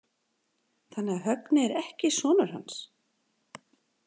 Þannig að Högni er ekki sonur hans?